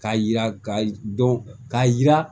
K'a yira ka dɔn k'a jira